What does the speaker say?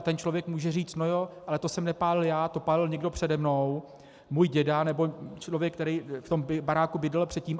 A ten člověk může říct: No, jo, ale to jsem nepálil já, to pálil někdo přede mnou, můj děda nebo člověk, který v tom baráku bydlel předtím.